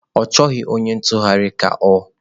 Ọ chọghị onye ntụgharị ka ọ?